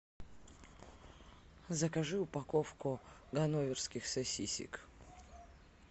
закажи упаковку ганноверских сосисок